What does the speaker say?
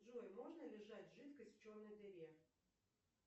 джой можно ли сжать жидкость в черной дыре